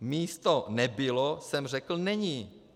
Místo "nebylo" jsem řekl "není".